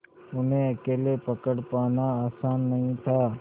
उन्हें अकेले पकड़ पाना आसान नहीं था